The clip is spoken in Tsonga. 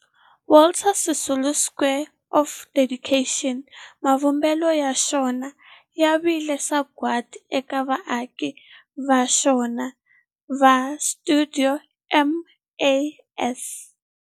Walter Sisulu Square of Dedication, mavumbelo ya xona ya vile sagwadi eka vaaki va xona va stuidio MAS.